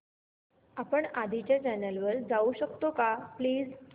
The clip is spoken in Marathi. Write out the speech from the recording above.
आपण आधीच्या चॅनल वर जाऊ शकतो का प्लीज